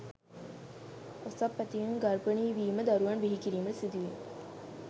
ඔසප් ඇතිවීම, ගර්භණී වීම, දරුවන් බිහිකිරීමට සිදුවීම